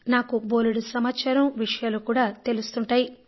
నాకు బోలెడు సమాచారం విషయాలు కూడా తెలుస్తుంటాయి